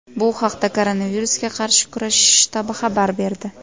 Bu haqda Koronavirusga qarshi kurashish shtabi xabar berdi .